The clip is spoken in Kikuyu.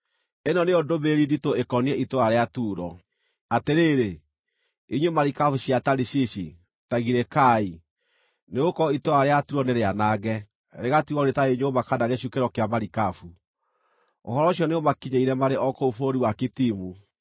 Ĩno nĩyo ndũmĩrĩri nditũ ĩkoniĩ itũũra rĩa Turo: Atĩrĩrĩ, inyuĩ marikabu cia Tarishishi, ta girĩkai. Nĩgũkorwo itũũra rĩa Turo nĩrĩanange, rĩgatigwo rĩtarĩ nyũmba kana gĩcukĩro kĩa marikabu. Ũhoro ũcio nĩũmakinyĩire marĩ o kũu bũrũri wa Kitimu.